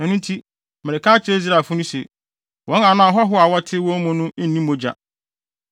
Ɛno nti, mereka akyerɛ Israelfo se, “Wɔn anaa ahɔho a wɔte wɔn mu no nni mogya.”